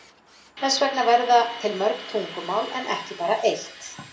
Þess vegna verða til mörg tungumál en ekki bara eitt.